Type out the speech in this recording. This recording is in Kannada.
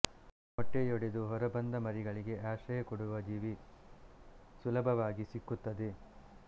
ಮೊಟ್ಟೆಯೊಡೆದು ಹೊರಬಂದ ಮರಿಗಳಿಗೆ ಆಶ್ರಯ ಕೊಡುವ ಜೀವಿ ಸುಲಭವಾಗಿ ಸಿಕ್ಕುತ್ತದೆ